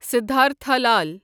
Siddhartha Lal